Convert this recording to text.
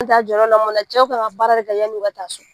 cɛw kan ka baara de ka yann'u ka taa so